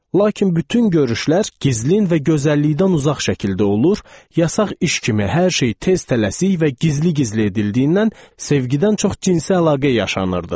Lakin bütün görüşlər gizlin və gözəllikdən uzaq şəkildə olur, yasaq iş kimi hər şey tez-tələsik və gizli-gizli edildiyindən sevgidən çox cinsi əlaqə yaşanırdı.